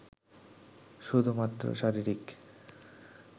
শুধুমাত্র শারীরিক